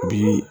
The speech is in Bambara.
Bi